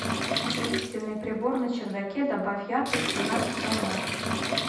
осветительный прибор на чердаке добавь яркость в семнадцать ноль ноль